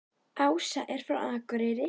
Ása er frá Akureyri.